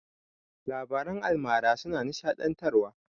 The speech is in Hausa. Labaran almara suna nishaɗantarwa.